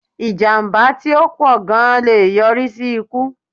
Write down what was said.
Ìjàmbá tí ó pọ̀ gan lé e yọrí sí ikú